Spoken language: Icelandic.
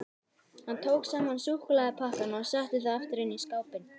Hann tók saman súkkulaðipakkana og setti þá aftur inn í skápinn.